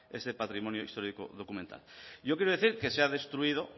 ese patrimonio histórico documental yo quiero decir que se ha destruido